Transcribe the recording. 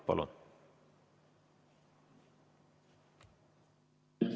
Palun!